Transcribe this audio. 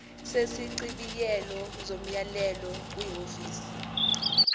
sesichibiyelo somyalelo kwihhovisi